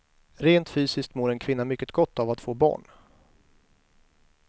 Rent fysiskt mår en kvinna mycket gott av att få barn.